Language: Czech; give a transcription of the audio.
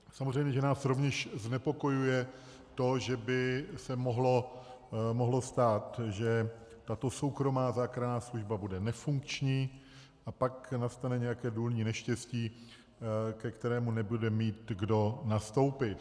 Samozřejmě že nás rovněž znepokojuje to, že by se mohlo stát, že tato soukromá záchranná služba bude nefunkční, a pak nastane nějaké důlní neštěstí, ke kterému nebude mít kdo nastoupit.